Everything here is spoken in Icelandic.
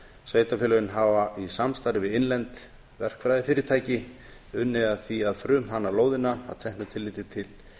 sveitarfélögin hafa í samstarfi við innlend verkfræðifyrirtæki unnið að því að frumhanna lóðina að teknu tilliti til